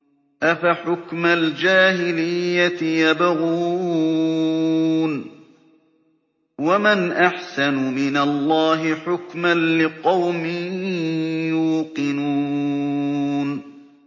أَفَحُكْمَ الْجَاهِلِيَّةِ يَبْغُونَ ۚ وَمَنْ أَحْسَنُ مِنَ اللَّهِ حُكْمًا لِّقَوْمٍ يُوقِنُونَ